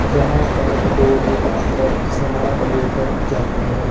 जहां पर लोग आकर सामान लेकर जाते हैं।